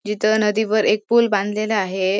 जिथ नदी वर एक पूल बांधलेला आहे.